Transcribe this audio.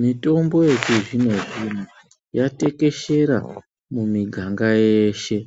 Mitombo yechizvino-zvino yatekeshera mumiganga yeshe.